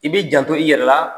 I bi janto i yɛrɛ la